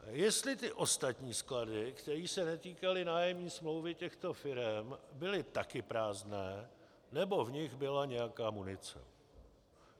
Jestli ty ostatní sklady, kterých se netýkaly nájemní smlouvy těchto firem, byly taky prázdné, nebo v nich byla nějaká munice.